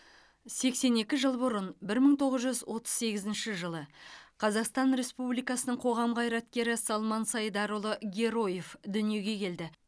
сексен екі жыл бұрын бір мың тоғыз жүз отыз сегізінші жылы қазақстан республикасының қоғам қайраткері салман сайдарұлы героев дүниеге келді